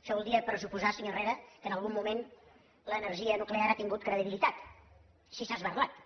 això voldria pressuposar senyor herrera que en algun moment l’energia nuclear ha tingut credibilitat si s’ha esberlat